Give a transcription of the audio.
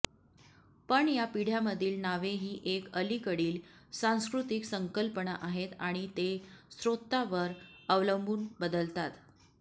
पण या पिढ्यामधील नावे ही एक अलीकडील सांस्कृतिक संकल्पना आहेत आणि ते स्त्रोतावर अवलंबून बदलतात